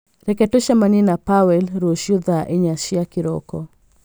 Reke tũcemanie na Pawel rũciũ thaa inya cia kĩroko